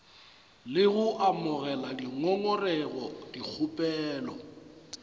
le go amogela dingongorego dikgopelo